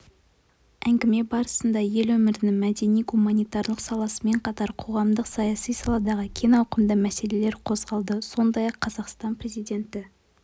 әңгіме барысында ел өмірінің мәдени-гуманитарлық саласымен қатар қоғамдық-саяси саладағы кең ауқымды мәселелер қозғалды сондай-ақ қазақстан президенті